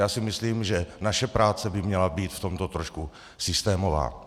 Já si myslím, že naše práce by měla být v tomto trošku systémová.